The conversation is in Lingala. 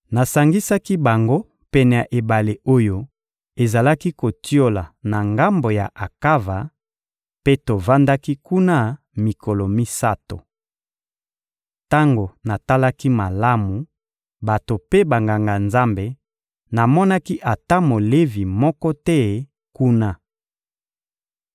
Nasangisaki bango pene ya ebale oyo ezalaki kotiola na ngambo ya Akava, mpe tovandaki kuna mikolo misato. Tango natalaki malamu bato mpe Banganga-Nzambe, namonaki ata Molevi moko te kuna.